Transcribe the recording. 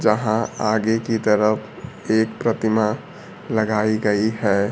जहां आगे की तरफ एक प्रतिमा लगाई गई हैं।